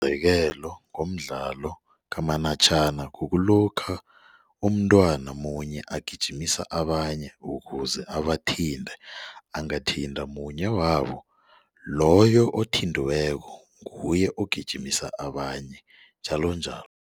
Ngomzekelo ngomdlalo kamanatjhana kukulokha umntwana munye agijima abanye ukuze abathinte angathinta munye wabo loyo othintiweko nguye ogijimisa abanye njalonjalo.